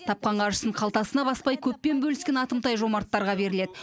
тапқан қаржысын қалтасына баспай көппен бөліскен атымтай жомарттарға беріледі